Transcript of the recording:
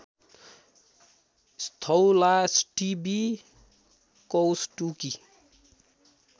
Sthaulashthivi Kaushtuki